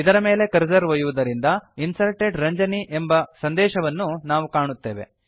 ಇದರ ಮೇಲೆ ಕರ್ಸರ್ ಒಯ್ಯುವುದರಿಂದ Inserted ರಂಜನಿ ಎಂಬ ಸಂದೇಶವನ್ನು ನಾವು ಕಾಣುತ್ತೇವೆ